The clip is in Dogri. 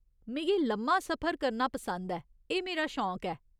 मिगी लम्मा सफर करना पसंद ऐ, एह् मेरा शौंक ऐ।